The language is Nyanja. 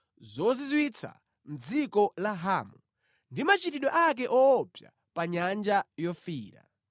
zozizwitsa mʼdziko la Hamu ndi machitidwe ake woopsa pa Nyanja Yofiira.